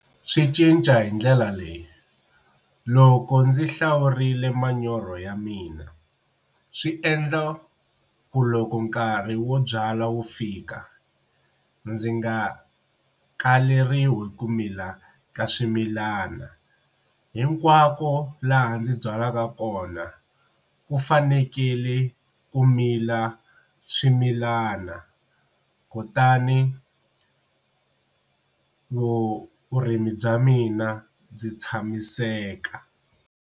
Swi cinca hi ndlela leyi loko ndzi hlawurile manyoro ya mina swi endla ku loko nkarhi wo byala wu fika ndzi nga kaleriwi ku mila ka swimilana hinkwako laha ndzi byalaka kona ku fanekele ku mila swimilana kutani vurimi bya mina byi tshamiseka.